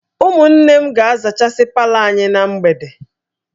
Ụmụnne m ga-azachasị palọ anyị na mgbede